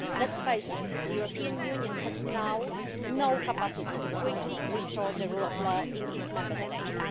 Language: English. Let's face it, the European Union now has no capacity to quickly restore the rule of law in its Member States.